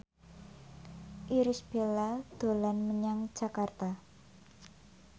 Irish Bella dolan menyang Jakarta